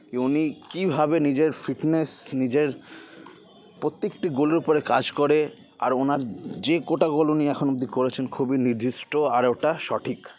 কি উনি কীভাবে নিজের fitness নিজের প্রত্যেকটি goal -এর উপরে কাজ করে আর ওনার যে কটি goal উনি এখন অবধি করেছেন খুবই নির্দিষ্ট আর ওটা সঠিক